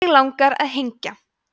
mig langar að hengja